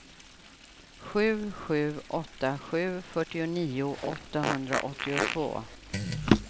sju sju åtta sju fyrtionio åttahundraåttiotvå